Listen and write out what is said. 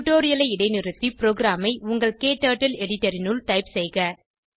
டுடோரியலை இடைநிறுத்தி ப்ரோகிராமை உங்கள் க்டர்ட்டில் எடிட்டர் இனுள் டைப் செய்க